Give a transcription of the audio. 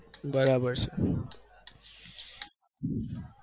બરાબર છે